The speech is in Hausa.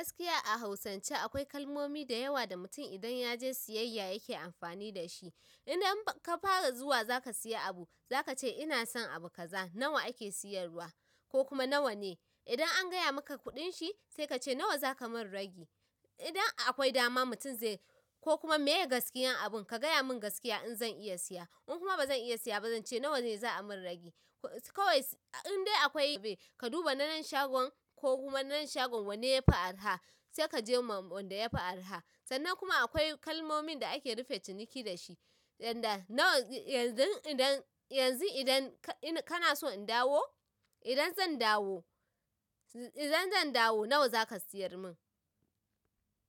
Gaskiya a hausance akwai kalmomi da yawa da mutum idan ya je siyayya yake amfani da shi. Idan ka fara zuwa za ka siya abu zaka ce ina son abu kaza nawa ake siyarwa ko kuma nawa ne? Idan an gaya maka kudinshi, sai kace nawa zaka mun ragi? Idan akwai dama mutum zai ko kuma meye gaskiyan abun ka gaya mun gaskiya in zan iya siya. In kuma bazan iya siya ba zan ce nawa ne za a min ragi. Kawais indai akwai ka duba na nan shagon ko kuma nanan shagon wanne yafi arha sai kaje ma wanda yafi arha. Sannan kuma akwai kalmomin da ake rufe ciniki da shi, yanda nawa yanzu idan yanzu idan kana so in dawo, idan zan dawo, idan zan dawo nawa zaka siyar min?